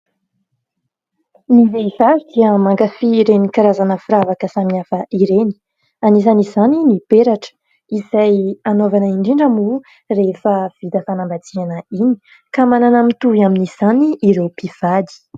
Ny vehivavy dia mankafia ireny karazana firavaka samihafa ireny , anisan' izany ny peratra izay anaovana indrindra moa rehefa vita fanambadiana iny ka manana mitovy amin'izany ireo mpivady.